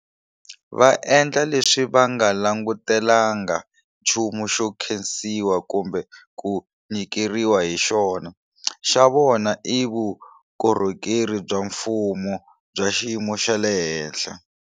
Va endla leswi va nga langutelanga nchumu xo nkhensiwa kumbe ku nyikeriwa hi xona. Xa vona i vukorhokeri bya mfumo bya xiyimo xa le henhla.